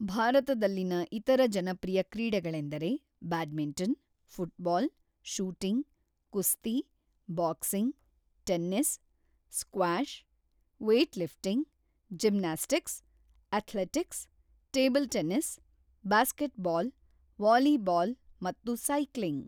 ಭಾರತದಲ್ಲಿನ ಇತರ ಜನಪ್ರಿಯ ಕ್ರೀಡೆಗಳೆಂದರೆ ಬ್ಯಾಡ್ಮಿಂಟನ್, ಫುಟ್‌ಬಾಲ್, ಶೂಟಿಂಗ್, ಕುಸ್ತಿ, boxing, tennis, squash, weightlifting, gymnastics, athletics, table tennis, basketball, volleyball ಮತ್ತು ಸೈಕ್ಲಿಂಗ್.